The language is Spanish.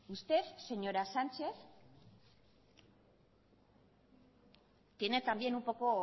usted señora sánchez tiene también un poco